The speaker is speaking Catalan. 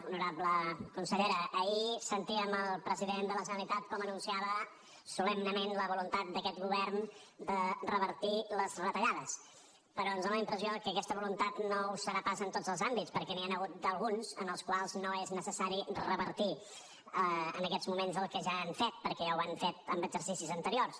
honorable consellera ahir sentíem el president de la generalitat com anunciava solemnement la voluntat d’aquest govern de revertir les retallades però ens dóna la impressió que aquesta voluntat no ho serà pas en tots els àmbits perquè n’hi han hagut d’alguns en els quals no és necessari revertir en aquests moments el que ja han fet perquè ho han fet en exercicis anteriors